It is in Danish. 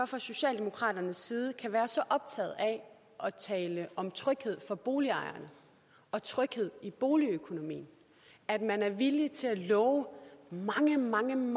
fra socialdemokraternes side kan være så optaget af at tale om tryghed for boligejerne og tryghed i boligøkonomien at man er villig til at love dem mange